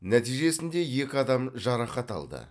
нәтижесінде екі адам жарақат алды